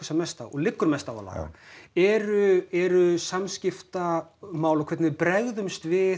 mest á og liggur mest á að laga eru eru samskiptamál og hvernig við bregðumst við